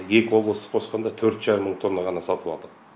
екі облысты қосқанда төрт жарым мың тонна ғана сатып алдық